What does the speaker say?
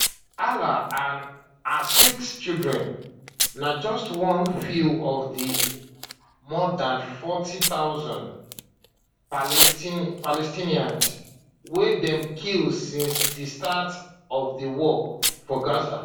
hala and her six children na just one few of di more dan 40000 palestinians dem kill since di start of di war for gaza